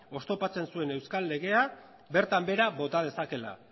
oztopatzen zuen euskal legea bertan behera bota dezakeela